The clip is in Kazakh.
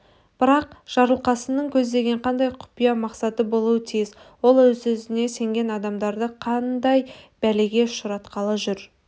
бірақ жарылқасынның көздеген қандай құпия мақсаты болуы тиіс ол өзіне сенген адамдарды қандай бәлеге ұшыратқалы жүр